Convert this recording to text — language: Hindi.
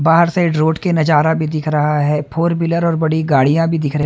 बाहर से रोड के नजारा भी दिख रहा है फोर व्हीलर और बड़ी गाड़ियां भी दिख रहे।